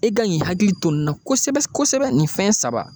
E kan k'i hakili to nin na kosɛbɛ kosɛbɛ nin fɛn saba.